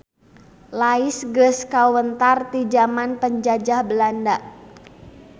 Lais geus kawentar ti jaman Penjajah Walanda.